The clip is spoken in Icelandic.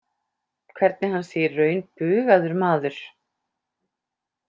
Hvernig hann sé í raun bugaður maður.